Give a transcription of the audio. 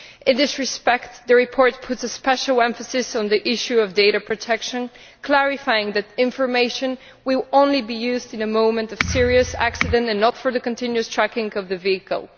In this respect, the report puts a special emphasis on the issue of data protection, clarifying that information will only be used at the moment of a serious accident and not for the continuous tracking of the vehicle.